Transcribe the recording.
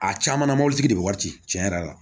A caman na mobilitigi de bi wari ci cɛn yɛrɛ la